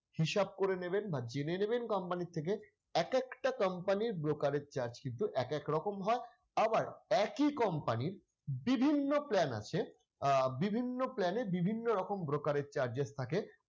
হিসাব করে নেবেন বা জেনে নেবেন company র থেকে এক একটা company র brokerage charge কিন্তু এক এক রকম হয় আবার একই company র বিভিন্ন plan আছে আহ বিভিন্ন plan এ বিভিন্ন রকম brokerage charges থাকে।